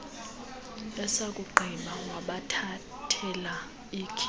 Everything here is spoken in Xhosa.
esakugqiba wabathathela ikhi